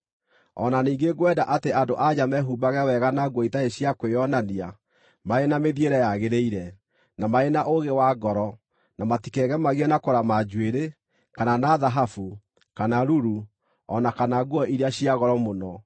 O na ningĩ ngwenda atĩ andũ-a-nja mehumbage wega na nguo itarĩ cia kwĩonania marĩ na mĩthiĩre yagĩrĩire, na marĩ na ũũgĩ wa ngoro, na matikegemagie na kũrama njuĩrĩ, kana na thahabu, kana ruru, o na kana nguo iria cia goro mũno,